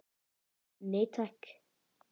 Nei takk.